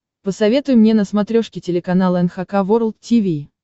посоветуй мне на смотрешке телеканал эн эйч кей волд ти ви